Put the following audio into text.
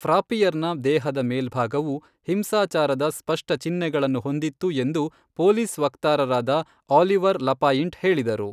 ಫ್ರಾಪ್ಪಿಯರ್ನ ದೇಹದ ಮೇಲ್ಭಾಗವು "ಹಿಂಸಾಚಾರದ ಸ್ಪಷ್ಟ ಚಿಹ್ನೆಗಳನ್ನು" ಹೊಂದಿತ್ತು ಎಂದು ಪೊಲೀಸ್ ವಕ್ತಾರರಾದ ಆಲಿವರ್ ಲಪಾಯಿಂಟ್ ಹೇಳಿದರು.